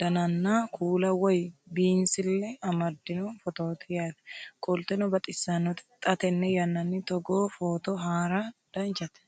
dananna kuula woy biinsille amaddino footooti yaate qoltenno baxissannote xa tenne yannanni togoo footo haara danchate